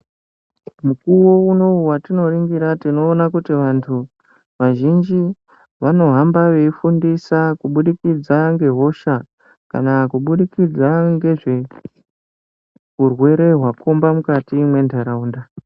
Mukuwo unowu watinoringira tinoona kuti vantu vazhinji vanohamba veifundisa kubudikidza ngehosha kana kubudikidza ngezveurwere hwakhomba mukati mwentaraunda.